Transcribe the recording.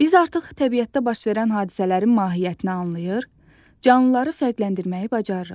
Biz artıq təbiətdə baş verən hadisələrin mahiyyətini anlayır, canlıları fərqləndirməyi bacarırıq.